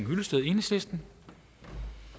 det